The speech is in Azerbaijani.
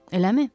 Eləmi?